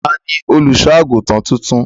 Ta ni olùṣọ́-àgùntàn tuntun?